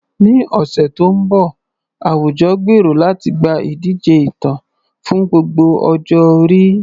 Ní ọ̀sẹ̀ tó ń bọ̀, àwùjọ gbèrò láti gba ìdíje ìtàn fún gbogbo ọjọ́ orí.